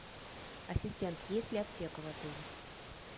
ассистент есть ли аптека в отеле